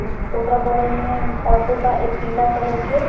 उस ओकर बगल में ऑटो बा पीला कलर के।